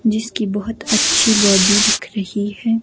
जिसकी बहुत अच्छी बॉडी दिख रही है।